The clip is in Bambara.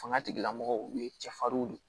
Fanga tigilamɔgɔw u ye cɛfarin de ye